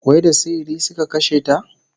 Wai da sihiri suka kashe ta?